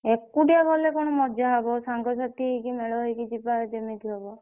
ଏକୁଟିଆ ଗଲେ କଣ ମଜା ହବ ସାଙ୍ଗସାଥି ହେଇକି ମେଳ ହେଇକି ଯିବା ଯେମିତି ହବ